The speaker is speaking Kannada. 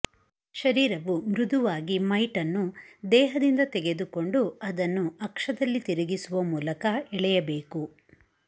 ಶರೀರವು ಮೃದುವಾಗಿ ಮೈಟ್ ಅನ್ನು ದೇಹದಿಂದ ತೆಗೆದುಕೊಂಡು ಅದನ್ನು ಅಕ್ಷದಲ್ಲಿ ತಿರುಗಿಸುವ ಮೂಲಕ ಎಳೆಯಬೇಕು